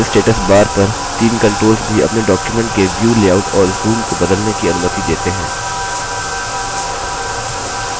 writer status bar पर the controls भी अपने document के view लेआउट और zoom को बदलने की अनुमति देते हैं